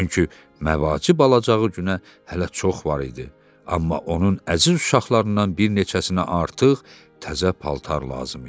Çünki məvacib alacağı günə hələ çox var idi, amma onun əziz uşaqlarından bir neçəsinə artıq təzə paltar lazım idi.